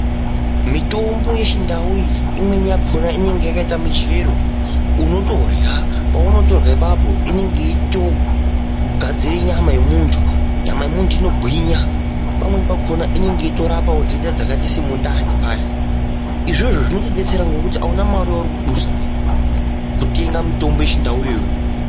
Mitombo yechindau iyi imweni yacho yakaite michero unotorya paunotorya apapo inenge yeitogadzire nyama yemuntu. Nyama yemuntu inogwinya pamweni pakona inenge yeitorapa ndenda dzakaora semundani paya , izvozvo zvinotodetsera nekuti auna mare yauri kudusa kutenga mitombo yechindauyo.